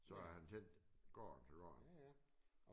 Så har han tænkt går den så går den